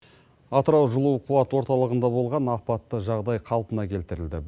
атырау жылу қуат орталығында болған апатты жағдай қалпына келтірілді